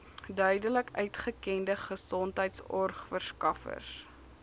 duidelik uitgekende gesondheidsorgverskaffers